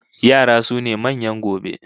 Yara sune manyan gobe